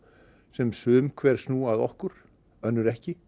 sem sum hver snúa að okkur önnur ekki